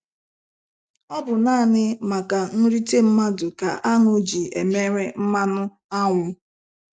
Ọ bụ naanị maka nrite mmadụ ka áṅụ ji emere mmanụ ánwụ.